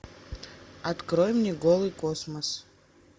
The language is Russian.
открой мне голый космос